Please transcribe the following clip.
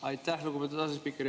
Aitäh, lugupeetud asespiiker!